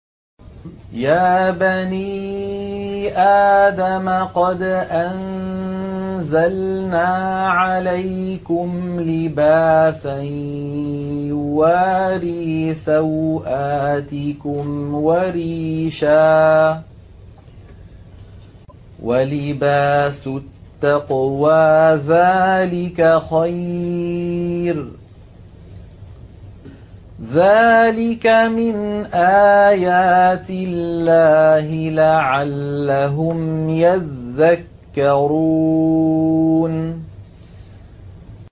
يَا بَنِي آدَمَ قَدْ أَنزَلْنَا عَلَيْكُمْ لِبَاسًا يُوَارِي سَوْآتِكُمْ وَرِيشًا ۖ وَلِبَاسُ التَّقْوَىٰ ذَٰلِكَ خَيْرٌ ۚ ذَٰلِكَ مِنْ آيَاتِ اللَّهِ لَعَلَّهُمْ يَذَّكَّرُونَ